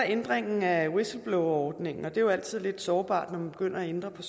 ændringen af whistleblowerordningen og det er jo altid lidt sårbart når man begynder at ændre på